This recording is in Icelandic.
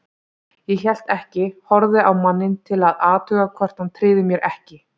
Ég hélt ekki, horfði á manninn til að athuga hvort hann tryði mér ekki.